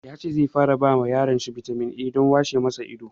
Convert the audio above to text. Ya ce zai fara ba yaron shi bitamin A don washe ma shi ido.